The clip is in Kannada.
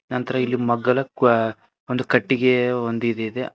ನಂತರ ಇಲ್ಲಿ ಮಗ್ಗಲು ಕ ಒಂದು ಕಟ್ಟಿಗೆ ಒಂದು ಇದಿದೆ.